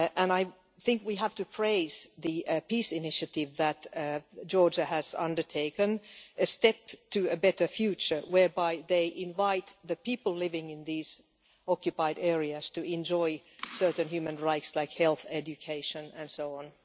I think we have to praise the peace initiative that Georgia has undertaken, which is a step to a better future whereby they invite the people living in these occupied areas to enjoy certain human rights like health, education and so on.